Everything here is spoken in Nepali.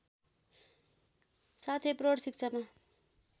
साथै प्रौढ शिक्षामा